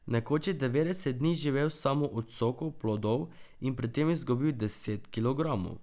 Nekoč je devetdeset dni živel samo od sokov plodov in pri tem izgubil deset kilogramov.